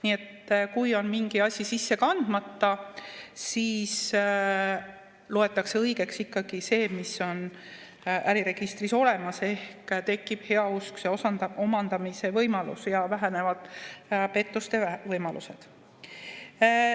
Nii et kui on mingi asi sisse kandmata, siis loetakse õigeks ikkagi see, mis on äriregistris olemas, ehk tekib heauskse omandamise võimalus ja vähenevad pettuste võimalused.